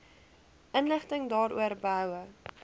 inligting daaroor behoue